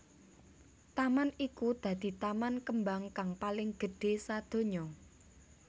Taman iku dadi taman kembang kang paling gedhé sadonya